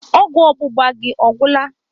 Ọgwụ ọgbụgba gị ọ gwụla?